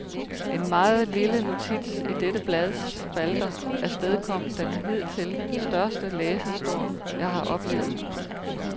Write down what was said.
En meget lille notits i dette blads spalter afstedkom den hidtil største læserstorm, jeg har oplevet.